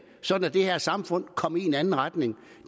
sådan at det her samfund komme i en anden retning